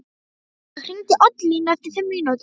Sía, hringdu í Oddlínu eftir fimm mínútur.